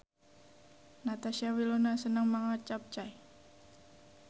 Natasha Wilona seneng mangan capcay